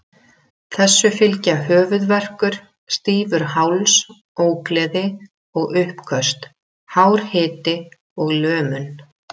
Þessu fylgja höfuðverkur, stífur háls, ógleði og uppköst, hár hiti og lömun.